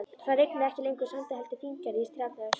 Það rigndi ekki lengur sandi heldur fíngerðri strjálli ösku.